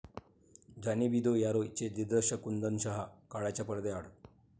जाने भी दो यारो'चे दिग्दर्शक कुंदन शहा काळाच्या पडद्याआड